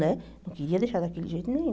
Né não queria deixar daquele jeito nenhum.